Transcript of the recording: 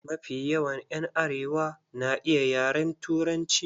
Mafi yawan ƴan arewa na iya yaren Turanci.